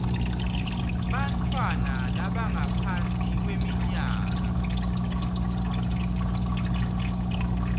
bantfwana labangaphansi kweminyaka